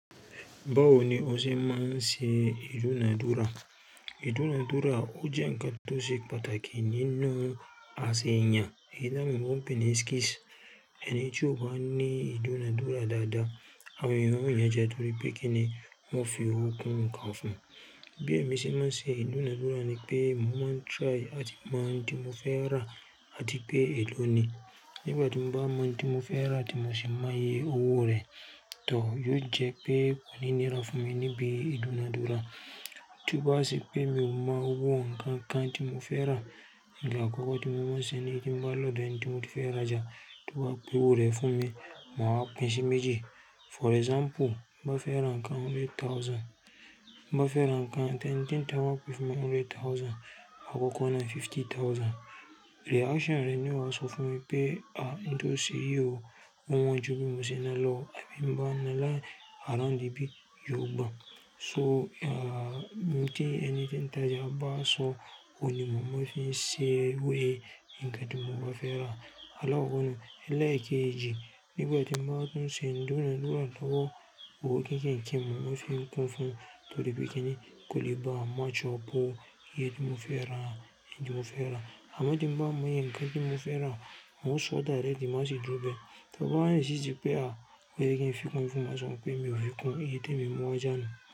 Báwo ni o ṣe máa ń ṣe ìdúnadúrà? Ìdúnadúrà ó jẹ́ ǹkan tó ṣe pàtàkì nínú àsèyàn. Eyin tawon ebo peni skills. Ẹni tí ó bá ní ìdúnadúrà dáadáa, àwọn ènìyàn ó ní reje nítorí pé kíni wọ́n fi owó kún ǹkan fún un. Bí èmi ṣe máa ń ṣe ìdúnadúrà ni pé mo máa ń try àti mọ ohun tí mo fẹ́ rà àti pé èló ni. Nígbà tí mo bá mọ ohun tí mo fẹ́ rà tí mo sì máa iyẹ owó rẹ̀, tò yóò jẹ́ pé kò ní nira fún mi níbi ìdúnadúrà. Tí bowa se pé mi ò mọ owó ǹkan kan tí mo fẹ́ rà, ǹkan àkọ́kọ́ tí mo máa ń ṣe ní kí n bá lòdò ènì tí mo ti fẹ́ ra já, tí wọ́n bá pe owó rẹ̀ fún mi, ma wa pinsì méjì. For example, mo fẹ́ ra ǹkan hundred thousand. Ti mo bá fẹ́ ra ǹkan ti ẹni ti n ta be pè fún mi hundred thousand. Ma koko náà fifty thousand. Reaction rẹ̀ ni o wàá sọ fún mi pé, "à ntò ṣe yí o, ó won ju bí mo ṣe na lọ." Àbí èmi bá ńa lá around ibi yóò gbà. So, mo ti ẹniti ń tà já bá sọ òun ni mọ, mo fi ṣe owó iyẹ, ǹkan tí mo bá fẹ́ rà. Àlakoko nu e lẹ kejì. Nígbà tí mo bá tún ṣe ìdúnadúrà lọ́wọ́, owó kẹ̀keke mo máa ń fi kún fún, nítorí pé kíni kò lè bá match up iye tí mo fẹ́ rà, ẹ̀yin tí mo fẹ́ rà. Àmọ́ tí mo bá iye ǹkan ti mo fẹ́ rà, mo sọ direct má sì dúró bẹ. To ba wa insist pé a, ó yẹ kí n fi kún fún, màá sọ pé mi ò fi kún, èyí tí èmi mu wa ojá nu.